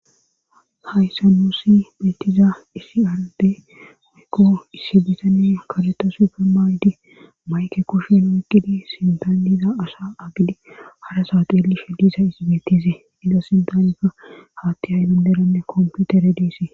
Hayssa nuusi metiza isiarde oykko issi bitane kaleta suufe maaydi mayke kushen wukqidi sintaniza asa agidi harasaxeelishe diza izibetizee iza sintaneka haatti haydunderanne komputere diise.